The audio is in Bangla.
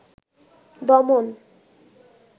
দমন